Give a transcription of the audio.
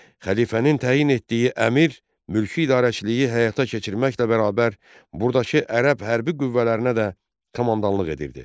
Xəlifənin təyin etdiyi əmir mülki idarəçiliyi həyata keçirməklə bərabər burdakı ərəb hərbi qüvvələrinə də komandanlıq edirdi.